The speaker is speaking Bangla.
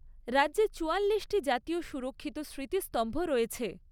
রাজ্যে চুয়াল্লিশটি জাতীয় সুরক্ষিত স্মৃতিস্তম্ভ রয়েছে।